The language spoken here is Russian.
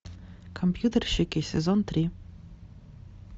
компьютерщики сезон три